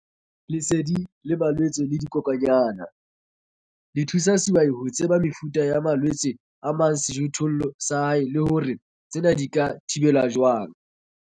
Lesedi mabapi le malwetse le dikokwanyana- Le thusa sehwai ho tseba mefuta ya malwetse a amang sejothollo sa hae le hore tsena di ka thibelwa jwang.